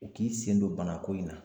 U k'i sen don banako in na